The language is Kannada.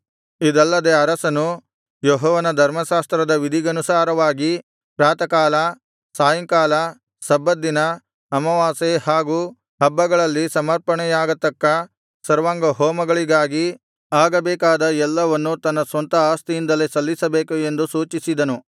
ಇದಲ್ಲದೆ ಅರಸನು ಯೆಹೋವನ ಧರ್ಮಶಾಸ್ತ್ರದ ವಿಧಿಗನುಸಾರವಾಗಿ ಪ್ರಾತಃಕಾಲ ಸಾಯಂಕಾಲ ಸಬ್ಬತ್ ದಿನ ಅಮಾವಾಸ್ಯೆ ಹಾಗು ಹಬ್ಬಗಳಲ್ಲಿ ಸಮರ್ಪಣೆಯಾಗತಕ್ಕ ಸರ್ವಾಂಗಹೋಮಗಳಿಗಾಗಿ ಆಗಬೇಕಾದ ಎಲ್ಲವನ್ನು ತನ್ನ ಸ್ವಂತ ಆಸ್ತಿಯಿಂದಲೇ ಸಲ್ಲಿಸಬೇಕು ಎಂದು ಸೂಚಿಸಿದನು